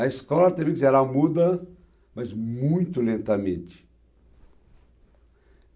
A escola, quero dizer, muda, mas muito lentamente.